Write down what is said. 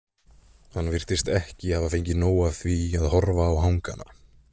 Hann virtist ekki geta fengið nóg af því að horfa á hangana.